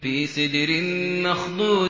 فِي سِدْرٍ مَّخْضُودٍ